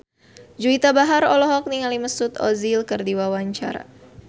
Juwita Bahar olohok ningali Mesut Ozil keur diwawancara